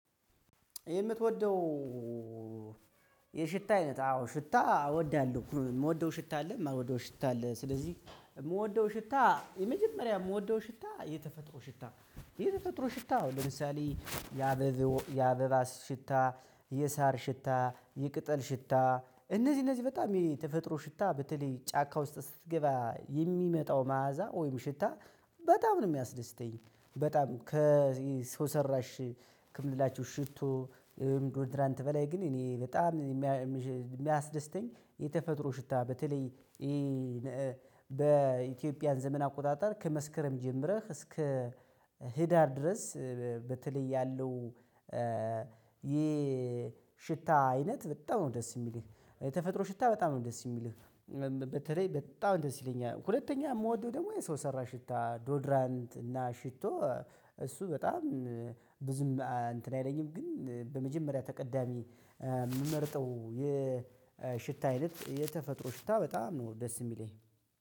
የምትወደው የሽታ አይነት አዎ ሽታ አወዳለው። የምወደው ሽታ አለ የማልወደው ሽታ አለ ስለዚህ የምወደው ሽታ የመጀመሪያ የምወደው ሽታ የተፈጥሮ ሽታ ነው። የተፈጥሮ ሽታ አሁን ለምሳሌ የአበባ የአበባ ሽታ የሳር ሽታ የቅጠል ሽታ እነዚህ እነዚህ በጣም የተፈጥሮ ሽታ በተለይ ጫካ ውስጥ ስትገባ የሚመጣው መዓዛ ወይም ሽታ በጣም ነው የሚያስደስተኝ። በጣም ከሰውራሽ ከምንላቸሁ ሽቶ ወይም ዶድራንት በላይ ግን እኔ በጣም የሚያስደስተኝ የተፈጥሮ ሽታ። በተለይ በኢትዮጵያ ዘመን አቆጣጠር ከመስከረም ጀምረህ እስከ ህዳር ድረስ በተለይ ያለው የሽታ አይነት በጣም ነው ደስ የሚልህ የተፈጥሮ ሽታ በጣም ነው ደስ የሚልህ በተለይ በጣም ደስ ይለኛል። ሁለተኛ የምወደው ደግሞ የሰው ሰራ ሽታ ዶድራንት እና ሽቶ እሱ በጣም ብዙም እንትን አይለኝም ግን በመጀመሪያ ተቀዳሚ የምመርጠው የሽታ አይነት የተፈጥሮ ሽታ በጣም ነው ደስ የሚለኝ።